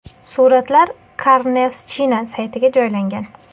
Suratlar CarNewsChina saytiga joylangan.